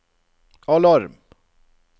alarm